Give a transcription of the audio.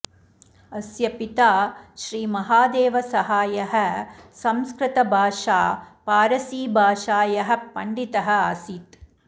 अस्य पिता श्री महादेव सहायः संस्कृतभाषा पारसीभाषायः पण्डितः आसीत्